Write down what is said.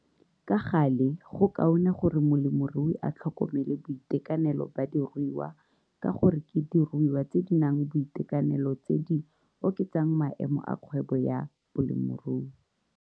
Ka gale go kaone gore molemirui a tlhokomele boitekanelo ba diruiwa ka gore ke diruiwa tse di nang boitekanelo tse di oketsang maemo a kgwebo ya bolemirui.